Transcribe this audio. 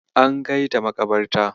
An kaita maƙabarta.